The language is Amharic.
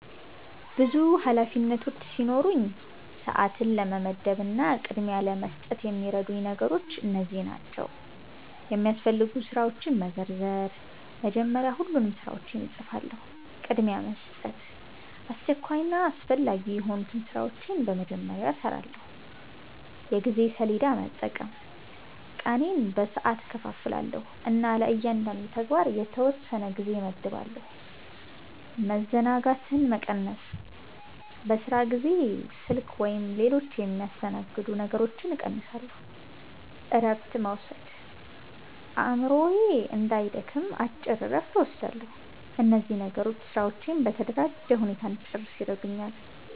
ብዙ ኃላፊነቶች ሲኖሩኝ፣ ሰዓትን ለመመደብ እና ቅድሚያ ለመስጠት የሚረዱኝ ነገሮች እነዚህ ናቸው፦ የሚያስፈልጉ ስራዎችን መዘርዘር – መጀመሪያ ሁሉንም ስራዎች እጽፋለሁ። ቅድሚያ መስጠት – አስቸኳይና አስፈላጊ የሆኑትን ስራዎች በመጀመሪያ እሰራለሁ። የጊዜ ሰሌዳ መጠቀም – ቀኔን በሰዓት እከፋፍላለሁ እና ለእያንዳንዱ ተግባር የተወሰነ ጊዜ እመድባለሁ። መዘናጋትን መቀነስ – በስራ ጊዜ ስልክ ወይም ሌሎች የሚያስተናግዱ ነገሮችን እቀንሳለሁ። እረፍት መውሰድ – አእምሮዬ እንዳይደክም አጭር እረፍት እወስዳለሁ። እነዚህ ነገሮች ስራዎቼን በተደራጀ ሁኔታ እንድጨርስ ይረዱኛል።